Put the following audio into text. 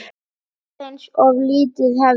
Aðeins ef lífið hefði.?